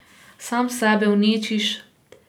Sam sebe uničiš.